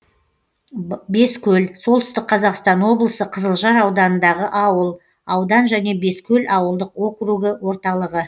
бескөл солтүстік қазақстан облысы қызылжар ауданындағы ауыл аудан және бескөл ауылдық округі орталығы